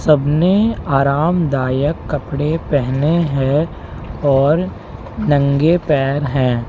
सब ने आरामदायक कपड़े पहने हैं और नंगे पैर हैं।